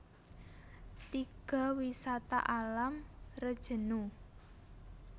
Tiga Wisata Alam Rejenu